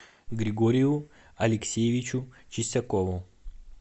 григорию алексеевичу чистякову